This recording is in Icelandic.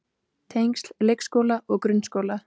Tengsl leikskóla og grunnskóla.